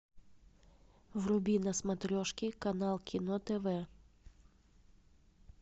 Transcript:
вруби на смотрешке канал кино тв